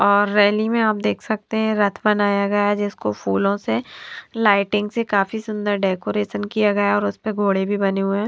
और रैली में आप देख सकते है रथ बनाया गया जिसको फूलों से लाइटिंग से काफी सुंदर डेकोरेशन किया गया और उसपे घोड़े भी बने हुए हैं।